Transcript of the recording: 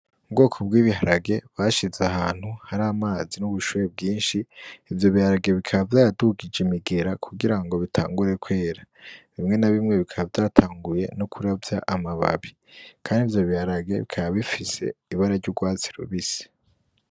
Mu bwoko bwibiharage bashize ahantu hari amazi n'ubushuhe bwinshi ivyo biharage bikaba vyayadugije imigera kugira ngo bitangure kwera bimwe na bimwe bikaba vyatanguye no kuravya amababi, kandi ivyo biharage bikabifise ibara ry'urwatsi rubisi.